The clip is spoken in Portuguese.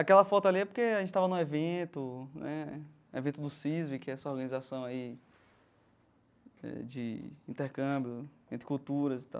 Aquela foto ali é porque a gente estava num evento né, evento do CISV, que é essa organização aí eh de intercâmbio entre culturas e tal.